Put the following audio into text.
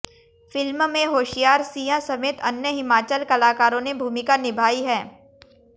film में होशियार सिंह समेत अन्य हिमाचल कलाकारों ने भूमिका निभाई है